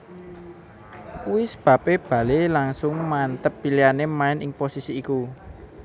Kuwi sebabè Bale langsung manteb pilihanè maèn ing posisi iku